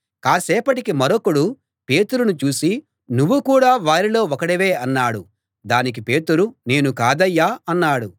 కాసేపటికి మరొకడు పేతురును చూసి నువ్వు కూడా వారిలో ఒకడివే అన్నాడు దానికి పేతురు నేను కాదయ్యా అన్నాడు